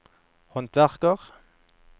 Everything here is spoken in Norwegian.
håndverker